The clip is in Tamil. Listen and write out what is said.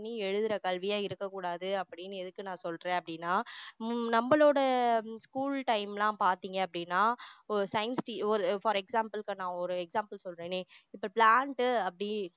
பண்ணி எழுதுற கல்வியா இருக்கக்கூடாது அப்படின்னு எதுக்கு நான் சொல்றேன் அப்படின்னா அஹ் நம்மளோட school time லாம் பாத்தீங்க அப்படின்னா ஒரு scienti~ ஒரு for an example இப்போ நான் ஒரு example சொல்றேனே இப்போ plant அப்படி